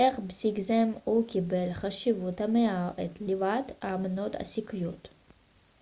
אך בסיקיזם הוא קיבל חשיבות המהווה את ליבת האמונות הסיקיות